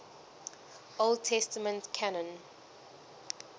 old testament canon